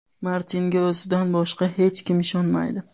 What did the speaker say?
Martinga o‘zidan boshqa hech kim ishonmaydi.